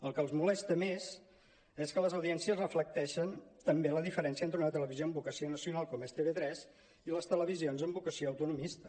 el que els molesta més és que les audiències reflecteixen també la diferència entre una televisió amb vocació na·cional com és tv3 i les televisions amb vocació autonomista